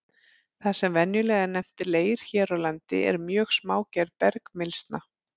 Það sem venjulega er nefnt leir hér á landi er mjög smágerð bergmylsna.